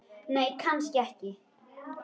Nei, kannski ekki.